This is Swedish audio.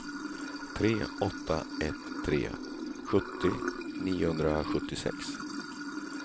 tre åtta ett tre sjuttio niohundrasjuttiosex